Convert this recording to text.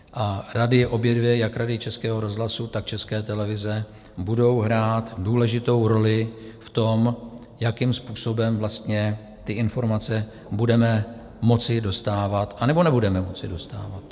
A rady, obě dvě, jak Rady Českého rozhlasu, tak České televize, budou hrát důležitou roli v tom, jakým způsobem vlastně ty informace budeme moci dostávat, anebo nebudeme moci dostávat.